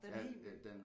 Den er helt ny